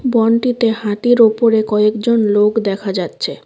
বনটিতে হাতির ওপরে কয়েকজন লোক দেখা যাচ্ছে।